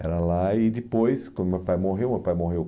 Era lá e depois, quando meu pai morreu, meu pai morreu